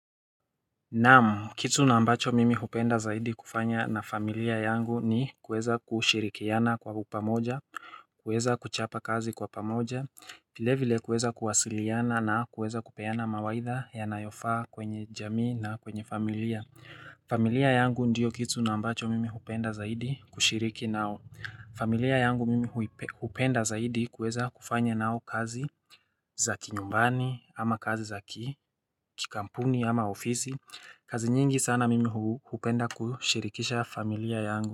Naam kitu na ambacho mimi hupenda zaidi kufanya na familia yangu ni kuweza kushirikiana kwa pamoja kuweza kuchapa kazi kwa pamoja vile vile kuweza kuwasiliana na kuweza kupeana mawaidha ya nayofaa kwenye jamii na kwenye familia familia yangu ndiyo kitu nambacho mimi hupenda zaidi kushiriki nao familia yangu mimi hupenda zaidi kuweza kufanya nao kazi za kinyumbani ama kazi za ki Kikampuni ama ofisi kazi nyingi sana mimi hupenda kushirikisha familia yangu.